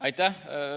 Aitäh!